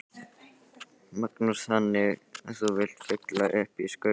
Magnús: Þannig að þú vilt fylla upp í skurðina?